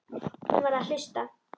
Hún var að hlusta.